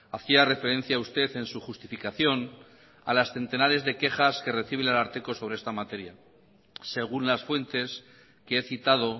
hacía referencia usted en su justificación a las centenares de quejas que recibe el ararteko sobre esta materia según las fuentes que he citado